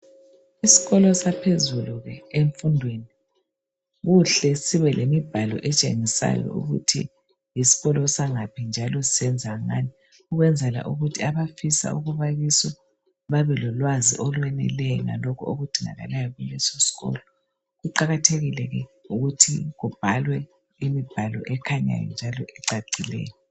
Isikolo saphezulu emfundweni kuhle sibe lemibhalo etshengisayo ukuthi yisikolo sangaphi njalo senza ngani, ukwenzela ukuthi abafisa ukuba kiso babelolwazi olweneleyo lalokhu okudingakalayo kuleso sikolo, kuqakathekile ke ukuthi kubhalwe imibhalo ekhanyayo njalo ecacileyo.